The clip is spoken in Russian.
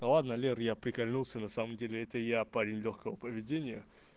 да ладно лер я прикольнулся на самом деле это я парень лёгкого поведения